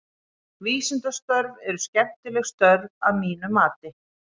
Vísindastörf eru skemmtileg störf að mínu mati.